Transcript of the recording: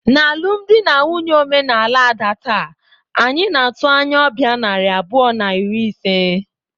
N'alụmdi na nwunye omenala Ada taa, anyị na-atụ anya ọbịa narị abụọ na iri ise.